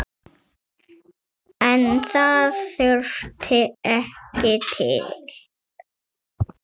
En það þurfti ekki til.